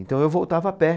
Então eu voltava a pé.